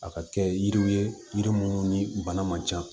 A ka kɛ yiriw ye yiri minnu ni bana man can